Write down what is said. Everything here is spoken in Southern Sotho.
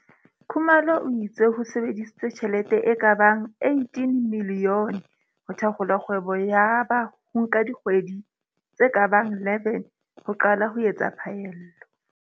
Khumalo o itse ho sebedisitswe tjhelete e ka bang 18 milione ho thakgola kgwebo yaba ho nka dikgwe di tse ka bang 11 ho qala ho etsa phaello.